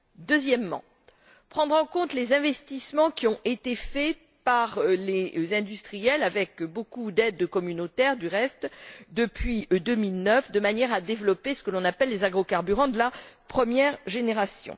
Deuxièmement, prendre en compte les investissements qui ont été faits par les industriels avec beaucoup d'aides communautaires du reste depuis 2009, de manière à développer ce que l'on appelle les agrocarburants de la première génération.